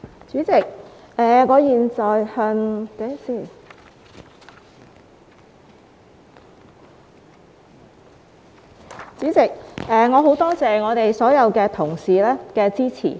代理主席，我十分感謝所有同事的支持。